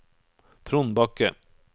Trond Bakke